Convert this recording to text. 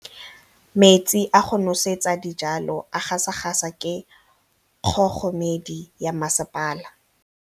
Metsi a go nosetsa dijalo a gasa gasa ke kgogomedi ya masepala.